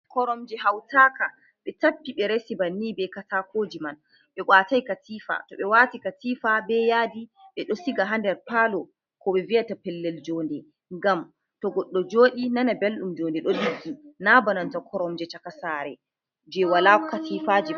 Koromji hautaka ɓe tappi ɓe resi bannin bei katakojiman ɓe watai katifa to ɓe wati katifa be yadi ɓeɗo siga ha ndar palo koɓe viyata pelel jonde gam to goɗɗo joɗi nana ɓeldum joɗe ɗo ɗiggi ki na bananta koromje cakasare je wala katifaji ɗo.